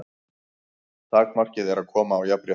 Takmarkið er að koma á jafnrétti.